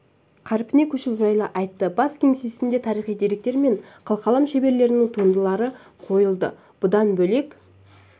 қарпіне көшуі жайлы айтты бас кеңсесінде тарихи деректер мен қылқалам шеберлерінің туындылары қойылды бұдан бөлек